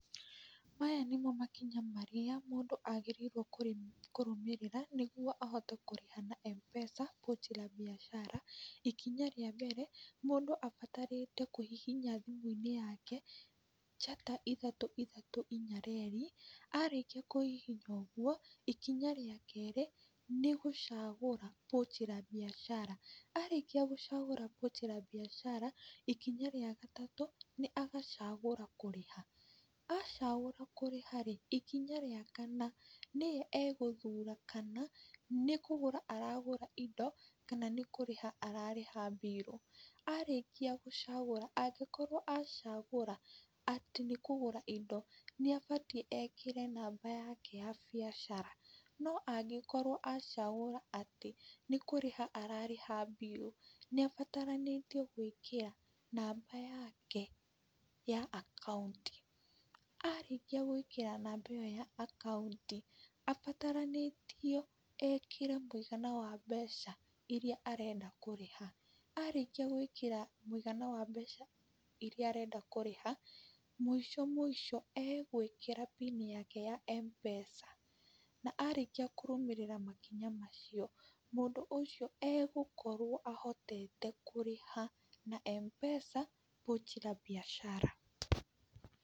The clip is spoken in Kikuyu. Maya nĩmo makinya marĩa mũndũ agĩrĩirwo kũrũmĩrĩra nĩguo ahote kũrĩha na MPESA Pochi la Biashara, ikinya rĩa mbere, mũndũ abatarĩte kũhihinya thimũ-inĩ yake, njata ithatũ ithatũ, inya reri, arĩkia kũhihinya ũguo, ikinya rĩa kerĩ, nĩ gũcagũra pochi la biashara, arĩkia gũcagũra pochi la biashara, ikinya rĩa gatatũ, nĩ agacagũra kũrĩha, acagũra kũrĩha rĩ, ikinya rĩa kana, nĩye egũthura kana nĩ kũgũra aragũra indo, kana nĩ kũrĩha ararĩha mbirũ, arĩkia gũcagũra, angĩkorwo acagũra atĩ nĩ kũgũra indo, nĩ abatiĩ ekĩre namba yake ya biacara, no angĩkorwo acagũra atĩ nĩkũrĩha ararĩha mbiru, nĩabataranĩtio gwĩkĩra, namba yake ya akaunti, arĩkia gwĩkĩra namba ĩyo ya akaunti, abataranĩtio ekĩre mũigana wa mbeca iria arenda kũrĩha, arĩkia gwĩkĩra mũigana wa mbeca iria arenda kũrĩha, mũico mũico agwĩkĩra pin yake ya MPESA, na arĩkia kũrũmĩrĩra makinya macio, mũndũ ũcio agũkorwo ahotete kũrĩha na MPESA pochi la biashara.